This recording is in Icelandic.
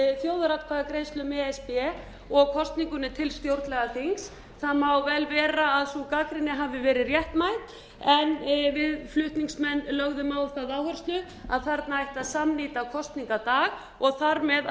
þjóðaratkvæðagreiðslu um e s b og kosningunni til stjórnlagaþings það má vel vera að sú gagnrýni hafi verið réttmæt en við flutningsmenn lögðum á það áherslu að þarna ætti að samnýta kosningadag og þar með